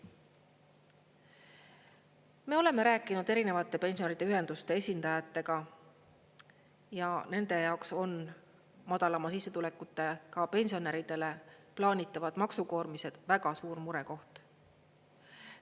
Me oleme rääkinud erinevate pensionäride ühenduste esindajatega ja nende jaoks on madalama sissetulekutega pensionäridele plaanitavad maksukoormised väga suur murekoht.